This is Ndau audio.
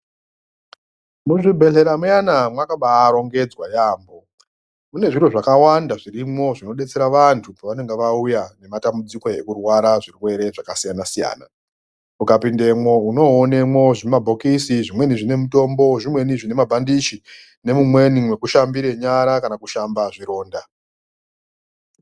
Muzvibhedhlera muyana makabarongedzwa yaamho. Mune zviro zvakawanda zvirimwo zvinobetsera vantu pevanenga vauya nematambudziko ekurwara zvirwere zvakasiyana siyana. Ukapindemwo unonoonemwo zvimabhokisi zvimweni zvine mutombo, zvimweni zvine mabhandichi nemumweni mekushambirira nyara kana kushamba zvironda.